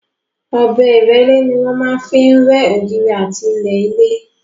Ọ̀bẹ ìrẹ́lé ni wọ́n máa ń fi rẹ́ ògiri àti ilẹ̀ ilé.